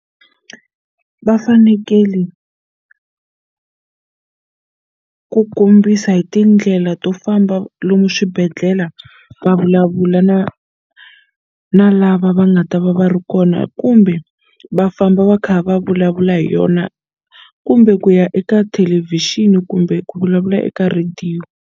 Va fanekele ku kombisa hi tindlela to famba lomu swibedhlela va vulavula na na lava va nga ta va va ri kona kumbe va famba va kha va vulavula hi yona kumbe ku ya eka thelevhixini kumbe ku vulavula eka rhediyo.